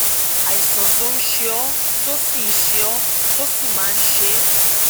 àìsàn tó ń ṣe ọ tó sì ń ṣe ọ tó sì máa ń ṣe é